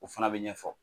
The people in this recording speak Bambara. O fana bɛ ɲɛfɔ